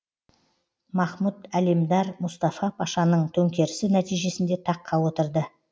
екінші махмұт әлемдар мұстафа пашаның төңкерісі нәтижесінде таққа отырды